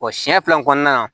O siɲɛ fila in kɔnɔna na